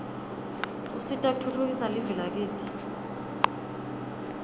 usita kutfutfukisa live lakitsi